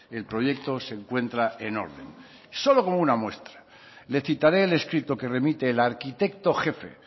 el proyecto se encuentra en orden solo como una muestra le citaré el escrito que remite el arquitecto jefe